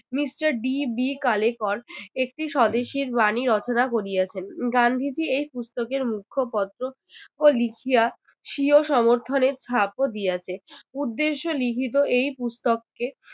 Mister D. B. Kalelkar একটি স্বদেশীর বাণী রচনা করিয়াছেন। গান্ধীজি এই পুস্তকের মুখ্য পত্র আহ লিখিয়া স্বীয় সমর্থনে ছাপও দিয়াছে। উদ্দেশ্য লিখিত এই পুস্তককে